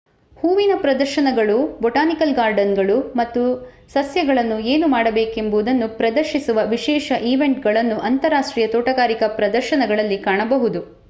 ಹೂವಿನ ಪ್ರದರ್ಶನಗಳು ಬೊಟಾನಿಕಲ್ ಗಾರ್ಡನ್‌ಗಳು ಮತ್ತು ಸಸ್ಯಗಳನ್ನು ಏನು ಮಾಡಬೇಕೆಂಬುದನ್ನು ಪ್ರದರ್ಶಿಸುವ ವಿಶೇಷ ಈವೆಂಟ್‌ಗಳನ್ನು ಅಂತರರಾಷ್ಟ್ರೀಯ ತೋಟಗಾರಿಕಾ ಪ್ರದರ್ಶನಗಳಲ್ಲಿ ಕಾಣಬಹುದು